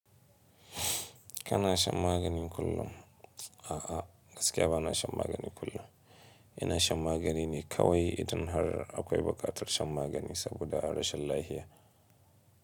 Kana shan magani kullum? A'a, gaskiya ba na shan magani kullum. Ina shan magani ne kawai idan har akwai bukatar shan magani saboda rashin lafiya.